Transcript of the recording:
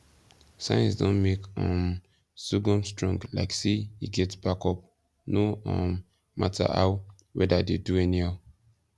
science don make um sorghum strong like say e get backup no um matter how weather dey do anyhow